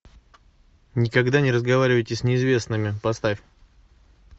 никогда не разговаривайте с неизвестными поставь